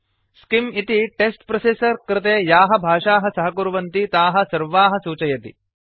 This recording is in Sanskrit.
स्किम् इति टेक्स्ट् प्रोसेसर् कृते याः भाषाः सहकुर्वन्ति ताः सर्वाः सूचयति